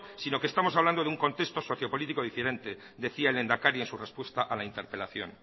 sino que estamos hablando de un concepto sociopolítico diferente decía el lehendakaria en su respuesta a la interpelación